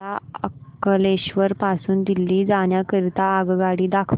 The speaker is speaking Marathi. मला अंकलेश्वर पासून दिल्ली जाण्या करीता आगगाडी दाखवा